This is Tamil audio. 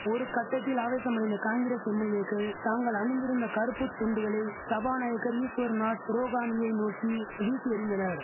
ஒரு கட்டத்தில் ஆவேசமடைந்த காங்கிரஸ் எம்எல்ஏக்கள் தாங்கள் அணிந்திருந்த கறுப்பு துண்டுகளை சபாநாயகர் ஈஸ்வர்நாத் ரோகானியை நோக்கி வீசி எறிந்தனர்